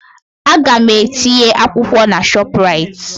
Aga m etinye akwụkwọ na ShopRite